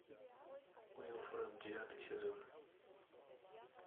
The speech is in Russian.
уилфренд девятый сезон